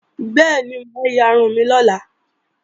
Bẹ́ẹ̀ni, mà á yarun mi lọ́la